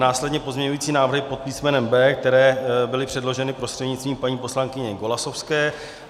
Následně pozměňující návrhy pod písmenem B, které byly předloženy prostřednictvím paní poslankyně Golasowské.